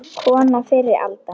Kona fyrri alda.